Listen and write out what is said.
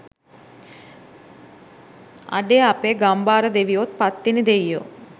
අඩේ අපෙ ගම්භාර දෙවියොත් පත්තිනි දෙයියෝ